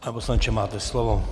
Pane poslanče, máte slovo.